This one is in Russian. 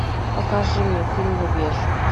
покажи мне фильм рубеж